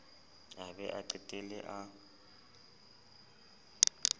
a be a qetelle a